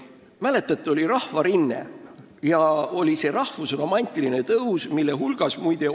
Mäletate, kui oli see rahvusromantiline tõus ja Rahvarinne?